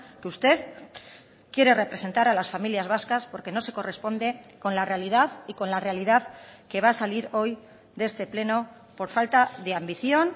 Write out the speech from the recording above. que usted quiere representar a las familias vascas porque no se corresponde con la realidad y con la realidad que va a salir hoy de este pleno por falta de ambición